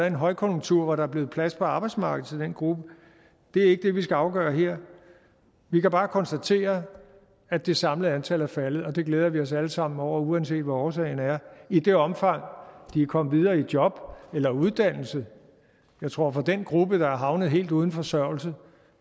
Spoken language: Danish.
en højkonjunktur hvor der er blevet plads på arbejdsmarkedet til den gruppe det er ikke det vi skal afgøre her vi kan bare konstatere at det samlede antal er faldet og det glæder vi os alle sammen over uanset hvad årsagen er i det omfang de er kommet videre i job eller uddannelse jeg tror at for den gruppe der er havnet i helt uden forsørgelse